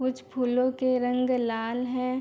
कुछ फूलो के रंग लाल है।